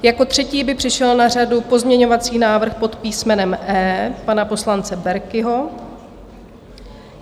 Jako třetí by přišel na řadu pozměňovací návrh pod písmenem E pana poslance Berkiho.